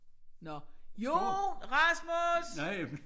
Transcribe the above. Nåh jo Rasmus!